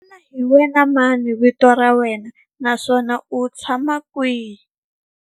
Xana hi wena mani vito ra wena naswona u tshama kwihi?